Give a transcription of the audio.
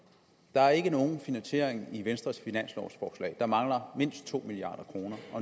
der er ikke nogen finansiering i venstres finanslovforslag der mangler mindst to milliard kroner